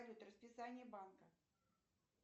салют расписание банка